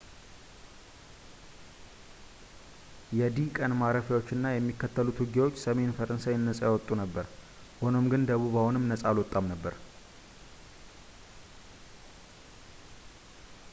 የዲ-ቀን ማረፊያዎች እና የሚከተሉት ውጊያዎች ሰሜን ፈረንሳይን ነፃ ያወጡ ነበር ፣ ሆኖም ግን ደቡብ አሁንም ነፃ አልወጣም ነበር